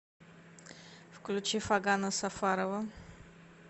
включи фагана сафарова